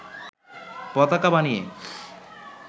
পতাকা বানিয়ে